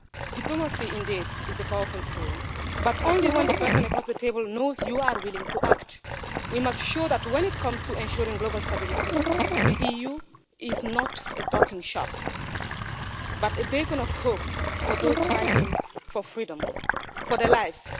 Diplomacy is indeed a powerful tool, but only when the person across the table knows you are willing to act. We must show that, when it comes to ensuring global stability, the EU is not a talking shop but a beacon of hope for those fighting for freedom, for their lives.